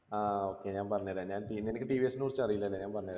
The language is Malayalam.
ആ okay ഞാൻ പറഞ്ഞ് തെരാ ഞാൻ നിനക്ക് ടി വി എസ് നെക്കുറിച്ചറീല അല്ലെ ആഹ് ഞാൻ പറഞ്ഞ് തരാം